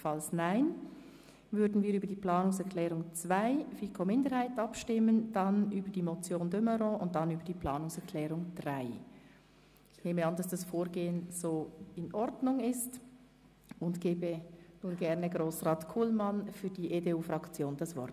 Falls diese abgelehnt wird, würden wir über die Planungserklärung 2 der FiKo-Minderheit abstimmen, dann über die Motion de Meuron und anschliessend über die Planungserklärung 3. Ich nehme an, dass dieses Vorgehen in Ordnung ist, und gebe nun Grossrat Kullmann für die EDU-Fraktion das Wort.